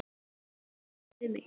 Þau töluðu bæði við mig.